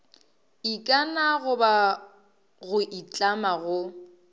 ikana goba go itlama go